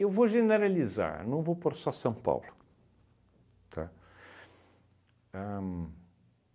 Eu vou generalizar, não vou pôr só São Paulo, tá? Ahn